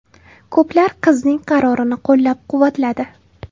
Ko‘plar qizning qarorini qo‘llab-quvvatladi.